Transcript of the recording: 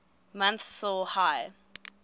months saw high